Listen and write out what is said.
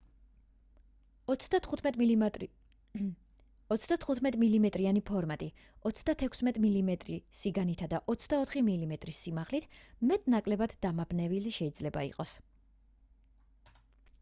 35 მმ-იანი ფორმატი 36 მმ სიგანითა 24 მმ სიმაღლით მეტ-ნაკლებად დამაბნეველი შეიძლება იყოს